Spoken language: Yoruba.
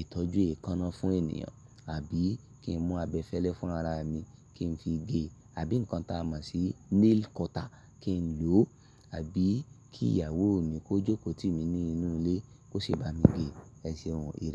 ìtọ́jú èékánná fún ènìyàn. Àbí kí n mú abẹfẹ́lẹ́ fúnra ra mi kí n fi gé e, àbí ǹkan tá a mọ̀ sí nail cutter kí n lò ó, àbí kí ìyàwó mi kó jókòó tì mí ní inú ilé kó ṣe bá mi gé e. Ẹ ṣe ohun ìrẹ̀.